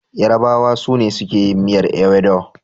Yarabawa su ne suke yin miyar ewedu.